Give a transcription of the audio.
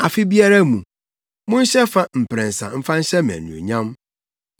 “Afe biara mu, monhyɛ fa mprɛnsa mfa nhyɛ me anuonyam.